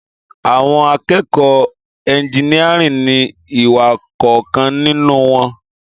Àwón àkẹkọ ẹginiàrín ni iwà kọ kàn nínù won